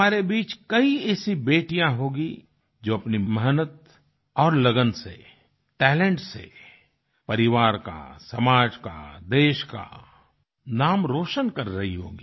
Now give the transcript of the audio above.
हमारे बीच कई ऐसी बेटियाँ होंगी जो अपनी मेहनत और लगन से टैलेंट से परिवार का समाज का देश का नाम रोशन कर रही होंगी